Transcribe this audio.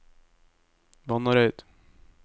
Vannareid